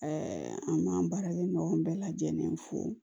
an b'an baarakɛ ɲɔgɔn bɛɛ lajɛlen fo